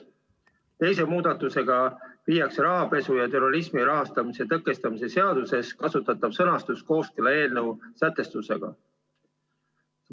Teise muudatusega viiakse rahapesu ja terrorismi rahastamise tõkestamise seaduses kasutatav sõnastus kooskõlla eelnõu sätestusega.